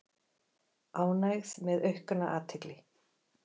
Ánægð með aukna athygli